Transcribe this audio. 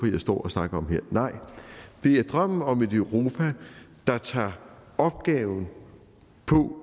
jeg står og snakker om her nej det er drømmen om et europa der tager opgaven